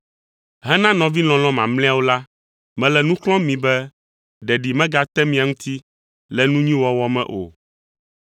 Hena nɔvi lɔlɔ̃ mamlɛawo la, mele nu xlɔ̃m mi be ɖeɖi megate mia ŋuti le nu nyui wɔwɔ me o.